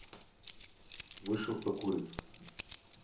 вышел покурить